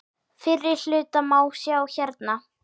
Fyrri hlutan má sjá hérna.